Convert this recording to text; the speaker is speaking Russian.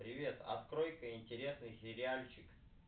привет открой ка интересный сериал